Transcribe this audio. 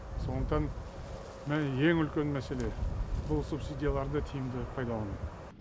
сондықтан ең үлкен мәселе бұл субсидияларды тиімді пайдалану